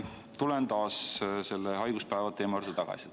Tulen taas selle haiguspäeva teema juurde tagasi.